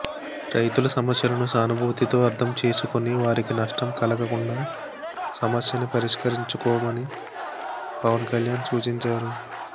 రైతుల సమస్యలను సానుభూతితో అర్ధం చేసుకొని వారికి నష్టం కలగకుండా సమస్యని పరిష్కరించుకోమని పవన్ కళ్యాణ్ సూచించారు